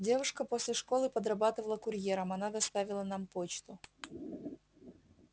девушка после школы подрабатывала курьером она доставила нам почту